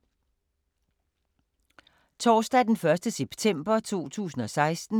Torsdag d. 1. september 2016